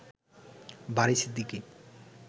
বারি Siddiqui